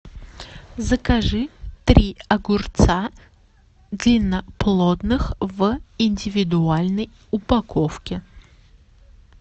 закажи три огурца длинноплодных в индивидуальной упаковке